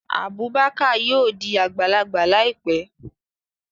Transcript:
Abubakar yóò di agbalagba laipe